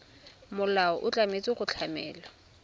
molao o tshwanetse go tlamela